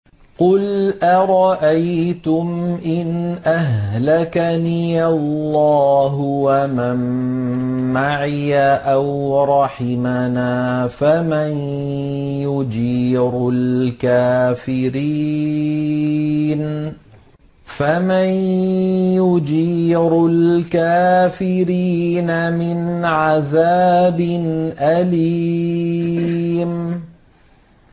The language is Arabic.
قُلْ أَرَأَيْتُمْ إِنْ أَهْلَكَنِيَ اللَّهُ وَمَن مَّعِيَ أَوْ رَحِمَنَا فَمَن يُجِيرُ الْكَافِرِينَ مِنْ عَذَابٍ أَلِيمٍ